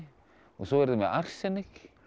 svo eru þau með arsenik